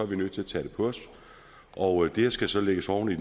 vi nødt til at tage det på os og det skal så lægges oven i